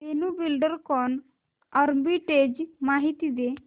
Dhenu Buildcon arbitrage माहिती दे